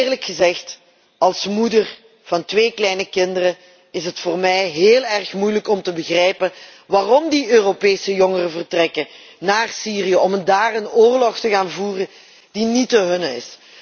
Eerlijk gezegd, als moeder van twee kleine kinderen is het voor mij heel erg moeilijk om te begrijpen waarom die Europese jongeren naar Syrië vertrekken om daar een oorlog te gaan voeren die niet de hunne is.